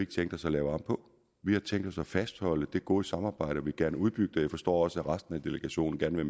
tænkt os at lave om på vi har tænkt os at fastholde det gode samarbejde og vil gerne udbygge det jeg forstår også at resten af delegationen gerne vil